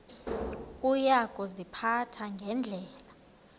uya kuziphatha ngendlela